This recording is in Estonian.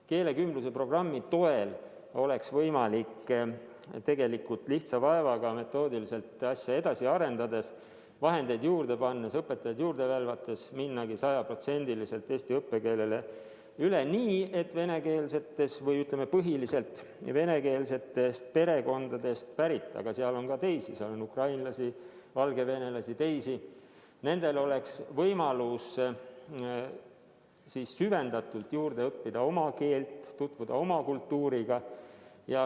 Keelekümbluse programmi toel oleks võimalik tegelikult lihtsa vaevaga metoodiliselt asja edasi arendades, vahendeid juurde pannes ja õpetajaid juurde värvates minna sajaprotsendiliselt eesti õppekeelele üle nii, et venekeelsetest perekondadest pärit lastel – või, ütleme, põhiliselt venekeelsetest perekondadest pärit lastel, sest nende hulgas on ka teisi, näiteks ukrainlasi ja valgevenelasi – oleks võimalus süvendatult juurde õppida ka oma keelt ja tutvuda oma kultuuriga.